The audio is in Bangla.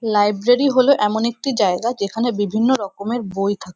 লাইব্রেরি হল এমন একটি জায়গা যেখানে বিভিন্ন রকমের বই থাক--